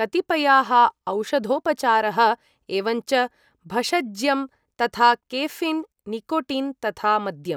कतिपयाः औषधोपचारः, एवञ्च भषज्यं यथा केफ़ीन्, निकोटिन्, तथा मद्यम्।